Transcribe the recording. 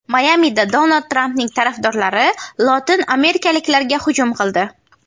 Mayamida Donald Trampning tarafdorlari lotin amerikaliklarga hujum qildi.